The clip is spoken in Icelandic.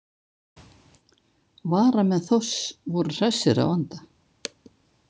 Varamenn Þórs voru hressir að vanda.